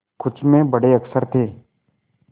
कुछ में बड़े अक्षर थे